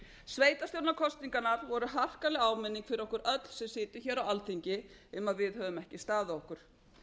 sveitarstjórnarkosningarnar voru harkaleg áminning fyrir okkur öll sem sitjum hér á alþingi um að við höfum ekki staðið okkur